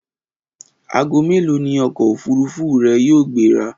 Aago mélòó ni ọkọ̀ òfúrufú rẹ yóò gbéra?